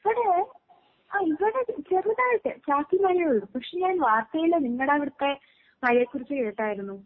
ഇവടെ ആഹ് ഇവടെ ച് ചെറുതായിട്ട് ചാറ്റൽ മഴയേ ഒള്ളൂ. പക്ഷെ ഞാൻ വാർത്തേല് നിങ്ങടവിടത്തെ മഴേക്കുറിച്ച് കേട്ടായിരുന്നു.